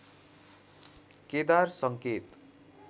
केदार सङ्केत